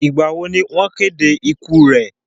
Ìgbà wo ni wọ́n kéde ikú rẹ?